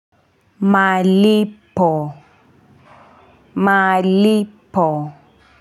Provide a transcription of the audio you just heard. Malipo malipo.